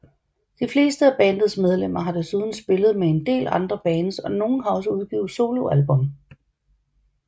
De fleste af bandets medlemmer har desuden spillet med en del andre bands og nogen har også udgivet soloalbum